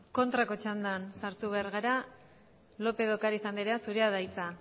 kontrako txandan sartu behar gara lópez de ocariz andrea zurea da hitza